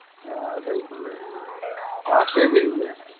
হ্যাঁ ওটাই আসে বেরিয়ে যায়।